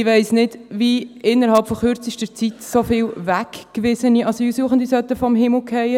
Ich weiss nicht, wie so viele weggewiesene Asylsuchende innerhalb von kürzester Zeit vom Himmel fallen sollen.